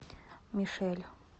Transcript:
мишель